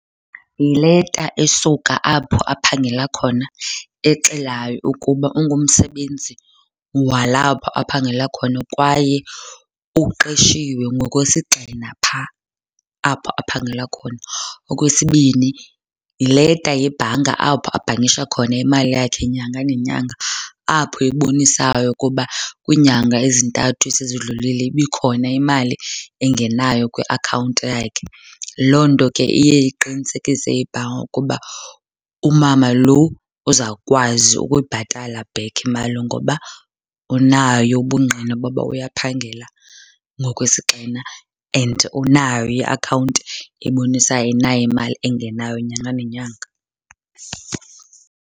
Yileta esuka apho aphangela khona exelayo ukuba ungumsebenzi walapho aphangela khona kwaye uqeshiwe ngokwesigxina phaa apho aphangela khona. Okwesibini, yileta yebhanka apho abhankisha khona imali yakhe nyanga nenyanga apho ebonisayo ukuba kwiinyanga ezintathu esezidlulile ibikhona imali engenayo kwiakhawunti yakhe. Loo nto ke iye iqinisekise ibhanka ukuba umama lo uzawukwazi ukuyibhatala back imali ngoba unayo ubungqina boba uyaphangela ngokwesigxina and unayo iakhawunti ebonisayo unayo imali engenayo nyanga nenyanga.